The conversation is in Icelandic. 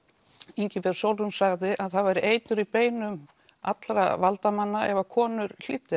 Ingibjörg Sólrún sagði að það væri eitur í beinum allra valdamanna ef konur hlýddu